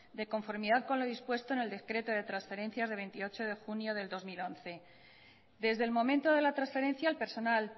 de conformidad con lo dispuesto en el decreto de transferencias de veintiocho de junio de dos mil once desde el momento de la transferencia al personal